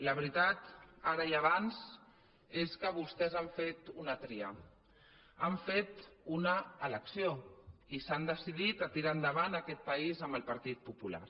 la veritat ara i abans és que vostès han fet una tria han fet una elecció i s’han decidit a tirar endavant aquest país amb el partit popular